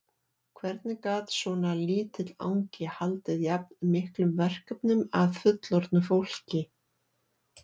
Hvernig gat svona lítill angi haldið jafn miklum verkefnum að fullorðnu fólki?